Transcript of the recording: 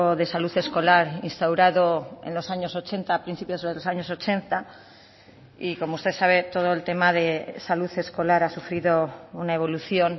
de salud escolar instaurado en los años ochenta a principios de los años ochenta y como usted sabe todo el tema de salud escolar ha sufrido una evolución